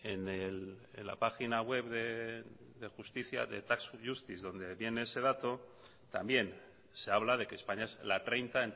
en la página web de justicia the tax justice donde viene ese dato también se habla de que españa es la treinta